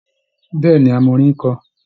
Bẹ́ẹ̀ ni, a mọ orin kọ